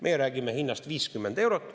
Meie räägime hinnast 50 eurot.